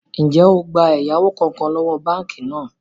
Ń jẹ́ ó gbà ẹ̀yáwó kánkán lọ́wọ́ báànkì náà?